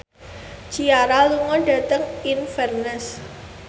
Ciara lunga dhateng Inverness